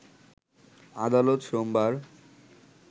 আদালত সোমবার